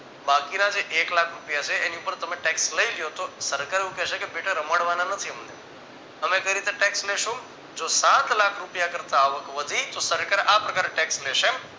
બાકીના જે એક લાખ રૂપિયા છે એની ઉપર તમે tax લઈ લ્યો તો સરકાર એવું કેહ્શે કે બેટા રમાડવાના નથી અમને અમે કઈ રીતે tax લેશું જો સાતલાખ રૂપિયા કરતા આવક વધી તો સરકાર આ પ્રકારે tax લેશે